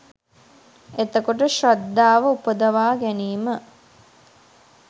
එතකොට ශ්‍රද්ධාව උපදවා ගැනීම